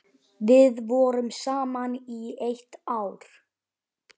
Við vorum saman í eitt ár.